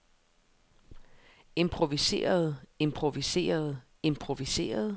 improviserede improviserede improviserede